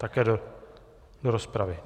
Také do rozpravy.